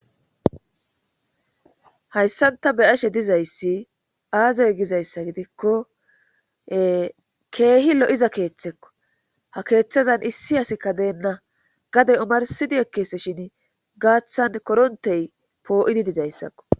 Hayssanta be ashe dizayssi aazay gizayssa gidikko keehi lo'iza keeththekko ha keeththazan issi asikka deenna gade omarsidi ekkese shin gaaththan korontey poo'idi dizayssakko